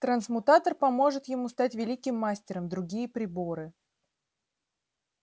трансмутатор поможет ему стать великим мастером другие приборы